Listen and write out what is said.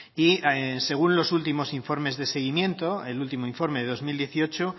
y según los últimos informes de seguimiento el último informe de dos mil dieciocho